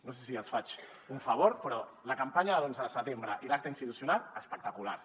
no sé si els faig un favor però la campanya de l’onze de setembre i l’acte institucional espectaculars